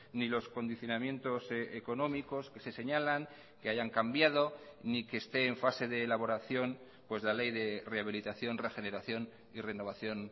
ni los condicionamientos económicos que se señalan que hayan cambiado ni que esté en fase de elaboración pues la ley de rehabilitación regeneración y renovación